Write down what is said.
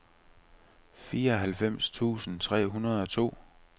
fireoghalvfems tusind tre hundrede og to